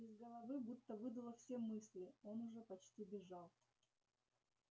из головы будто выдуло все мысли он уже почти бежал